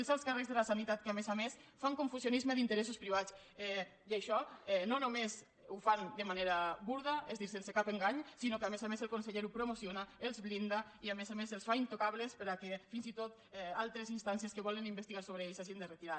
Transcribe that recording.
els alts càrrecs de la sanitat que a més a més fan confusionisme d’interessos privats i això no només ho fan de manera burda és a dir sense cap engany sinó que a més a més el conseller ho promociona els blinda i a més a més els fa intocables perquè fins i tot altres instàncies que volen investigar sobre ells s’hagin de retirar